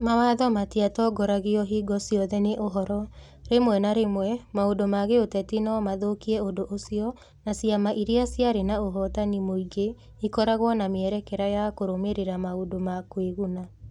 Mawatho matiatongoragio hingo ciothe nĩ ũhoro: rĩmwe na rĩmwe maũndũ ma gĩũteti no mathũkie ũndũ ũcio, na ciama iria ciarĩ na ũhotani mũingĩ ikoragwo na mĩerekera ya kũrũmĩrĩra maũndũ ma kwĩguna.